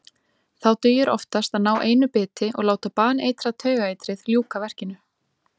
Þá dugir oftast að ná einu biti og láta baneitrað taugaeitrið ljúka verkinu.